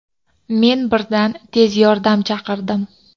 Men birdan tez yordam chaqirdim.